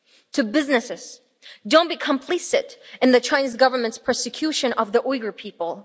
To businesses don't be complicit in the Chinese Government's persecution of the Uyghur people.